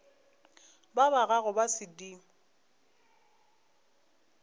ba ba gago ba sedimo